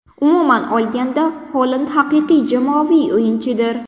Umuman olganda, Holand haqiqiy jamoaviy o‘yinchidir.